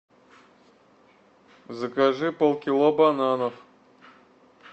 закажи полкило бананов